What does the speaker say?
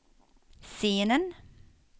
scenen